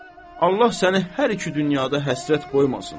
Allah səni hər iki dünyada həsrət qoymasın.